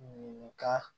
Ɲininka